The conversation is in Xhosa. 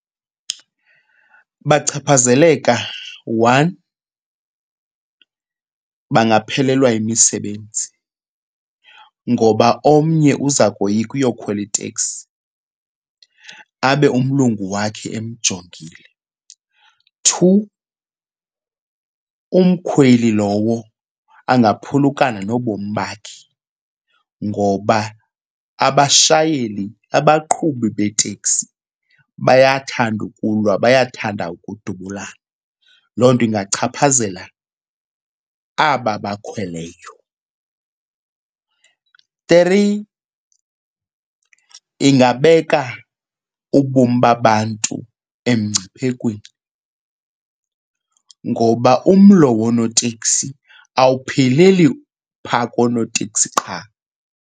Bachaphazeleka one, bangaphelelwa yimisebenzi ngoba omnye uza koyika uyokhwela iteksi abe umlungu wakhe emjongile. Two, umkhweli lowo angaphulukana nobomi bakhe ngoba abashayeli, abaqhubi beeteksi bayathanda ukulwa bayathanda ukudubulana. Loo nto ingachaphazela aba abakhweleyo. Three, ingabeka ubomi babantu emngciphekweni ngoba umlo woonoteksi awupheleli phaa koonoteksi qha.